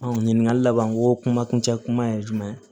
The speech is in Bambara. ɲininkali laban ko kuma kuncɛ kuma ye jumɛn ye